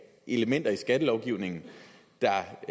elementer i skattelovgivningen der